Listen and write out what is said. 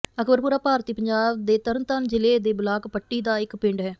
ਅਕਬਰਪੁਰਾ ਭਾਰਤੀ ਪੰਜਾਬ ਦੇ ਤਰਨਤਾਰਨ ਜ਼ਿਲ੍ਹੇ ਦੇ ਬਲਾਕ ਪੱਟੀ ਦਾ ਇੱਕ ਪਿੰਡ ਹੈ